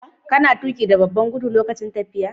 Kana tuƙi da babban gudu lokacin tafiya.?